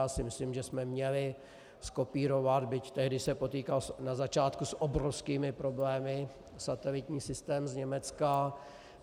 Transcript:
Já si myslím, že jsme měli zkopírovat, byť tehdy se potýkal na začátku s obrovskými problémy, satelitní systém z Německa.